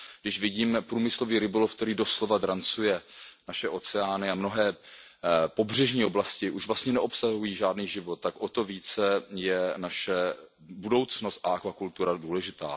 Když vidíme průmyslový rybolov, který doslova drancuje naše oceány, a mnohé pobřežní oblasti už vlastně neobsahují žádný život, tak o to více je naše budoucnost a akvakultura důležitá.